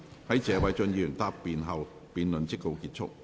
在謝偉俊議員答辯後，辯論即告結束。